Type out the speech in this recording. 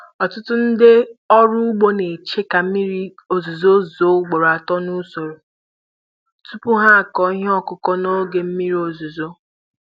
Ọtụtụ ndị ọrụ ugbo na-eche ka mmiri ozuzo zuo ugboro atọ n'usoro tupu ha akụ ihe ọkụkụ na oge mmiri ọzụzụ.